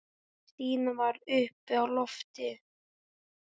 Stína var uppi á lofti.